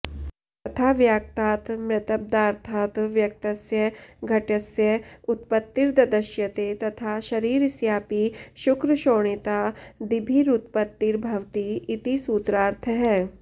यथा व्याक्तात् मृत्प्दार्थात् व्यक्तस्य घटस्य उत्पत्तिर्द्दश्यते तथा शरीरस्यापि शुक्रशोणितादिभिरुत्पत्तिर्भवति इति सूत्रार्थः